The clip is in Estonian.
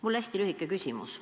Mul on hästi lühike küsimus.